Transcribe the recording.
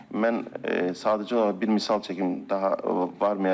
Mən sadəcə olaraq bir misal çəkim daha varmayacam.